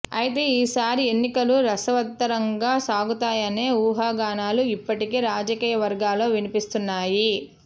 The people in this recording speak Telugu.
అయితే ఈసారి ఎన్నికలు రసవత్తరంగా సాగుతాయనే ఊహాగానాలు ఇప్పటికే రాజకీయ వర్గాల్లో వినిపిస్తున్నాయి